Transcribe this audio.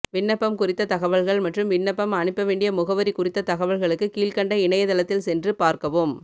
விண்ணப்பம் குறித்த தகவல்கள் மற்றும் விண்ணப்பம் அனுப்ப வேண்டிய முகவரி குறித்த தகவல்களுக்கு கீழ்க்கண்ட இணையதளத்தில் சென்று பார்க்கவும்